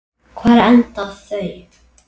Hvar enda þau?